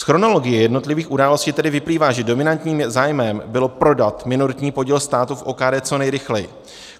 Z chronologie jednotlivých událostí tedy vyplývá, že dominantním zájmem bylo prodat minoritní podíl státu v OKD co nejrychleji.